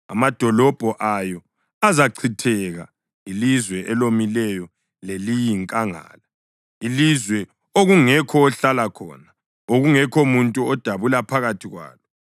Amadolobho ayo azachitheka, ilizwe elomileyo leliyinkangala, ilizwe okungekho ohlala khona, okungekho muntu odabula phakathi kwalo.